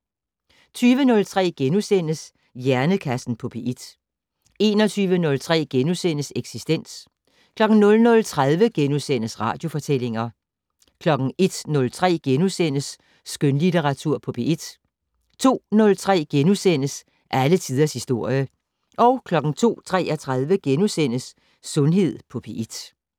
20:03: Hjernekassen på P1 * 21:03: Eksistens * 00:30: Radiofortællinger * 01:03: Skønlitteratur på P1 * 02:03: Alle tiders historie * 02:33: Sundhed på P1 *